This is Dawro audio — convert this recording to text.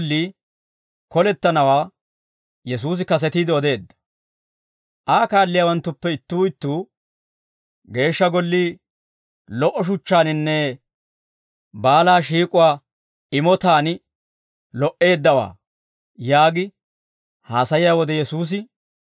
Aa kaalliyaawanttuppe ittuu ittuu, «Geeshsha gollii lo"o shuchchaaninne baalaa shiik'uwaa imotaan lo"eeddawaa» yaagi haasayiyaa wode Yesuusi,